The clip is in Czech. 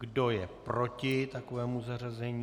Kdo je proti takovému zařazení?